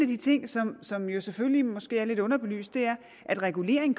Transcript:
de ting som som jo selvfølgelig måske er lidt underbelyst er at regulering